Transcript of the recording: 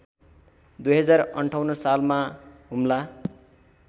२०५८ सालमा हुम्ला